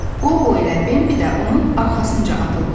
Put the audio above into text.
Qobo ilə Bembi də onun arxasınca atıldılar.